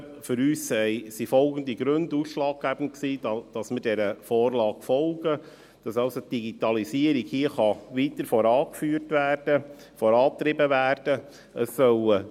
Für uns waren folgende Gründe ausschlaggebend dafür, dass wir dieser Vorlage folgen: dass die Digitalisierung hier weiter vorangeführt und vorangetrieben werden kann.